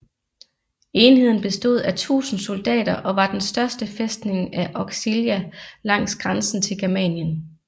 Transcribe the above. Enheden bestod af 1000 soldater og var den største fæstning af Auxilia langs grænsen til Germanien